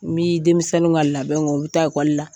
N bi denmisɛn ka labɛn u bi taa lakɔli la.